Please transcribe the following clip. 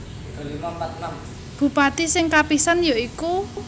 Bupati sing kapisan ya iku